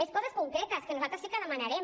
més coses concretes que nosaltres sí que demanarem